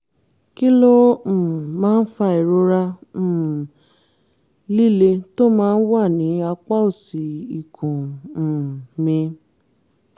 kí ló um máa fa ìrora um líle tó máa ń wà ní apá òsì ikùn um mi?